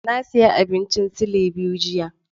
Na sayi abincin silai biyu jiya.